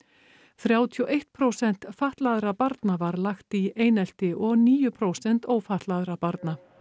þrjátíu og eitt prósent fatlaðra barna var lagt í einelti og níu prósent ófatlaðra barna